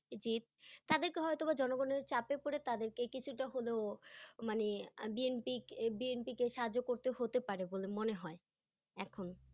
জি। তাদেরকে হয়তো বা জনগনের চাপে পরে তাদেরকে কিছুটা হলেও মানে আহ BNP কে- BNP কে সাহায্য করতে হতে পারে বলে মনে হয় এখন।